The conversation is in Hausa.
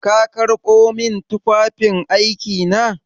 Ka karɓo min tufafin aiki na?